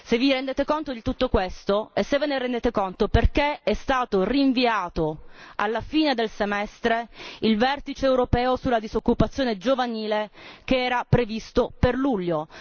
Vi rendete conto di tutto ciò? E se ve ne rendete conto, perché è stato rinviato alla fine del semestre il vertice europeo sulla disoccupazione giovanile, che era previsto per luglio.